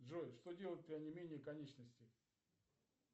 джой что делать при онемении конечностей